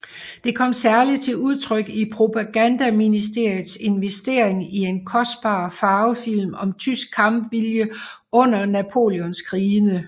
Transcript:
Det kom særligt til udtryk i propagandaministeriets investering i en kostbar farvefilm om tysk kampvilje under Napoleonskrigene